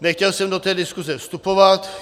Nechtěl jsem do té diskuse vstupovat.